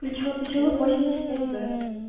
ключевой посёлок восемьдесят пять